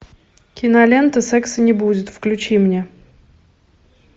кинолента секса не будет включи мне